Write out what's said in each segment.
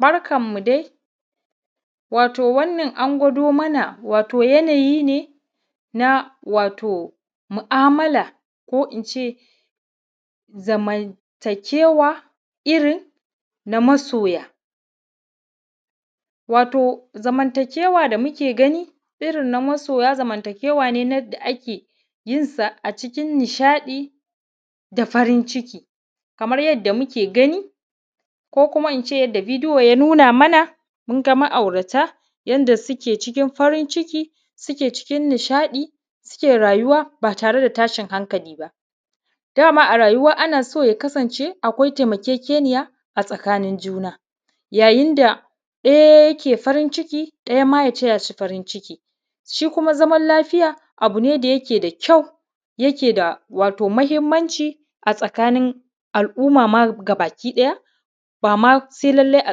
Barkan mu dai wato wannan an gwado mana wato yanayi ne na wato mu’amala ko ince zamanta kewa irrin na masoya. Wato zamanta kewa da muke gani irrin na masoya zamanta kewa ne da ake yinsa cikin nishaɗi da farin ciki kamar yadda muke gani ko kuma ince yanda bideyo ya nuna mana munga ma’aurata yanda suke cikin farin ciki suke cikin nishaɗi suke rayuwa ba tareda tashin hankali ba. Dama a rayuwa anaso ya kasan ce a akwai taimakekeniya a tsakanin juna yayin da ɗaya yake farin ciki ɗaya ma ya tayashi farin ciki, shi kuma zaman lafiya abune da yake da kyau yake da mahimmanci a tsakanin al’umma baki ɗaya bama sai lallai a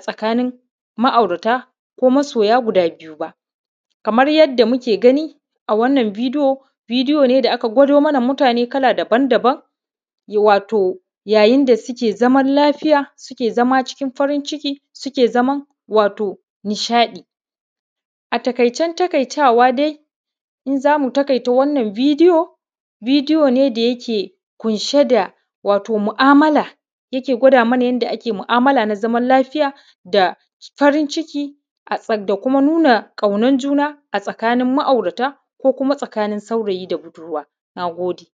tsakanin ma’aurata ko masoya guda biyu ba. Kamar yadda muke gani a wannan bideyo bideyo da aka gwado mana mutane kala daban daban wato ya yinda suke zaman lafiya suke zama cikin farin ciki suke zaman wato nishaɗi. A taƙaicen taƙaitawa dai in zamu taƙaita wannan bideyo, bideyo da yake kunshe da wato mu’amala yake gwada mana yanda ake mu’amala na zama lafiya da farin ciki da kuna kaunan juna a tsakanin ma’aurata ko kuma a tsakanin saurayi da budurwa nagode.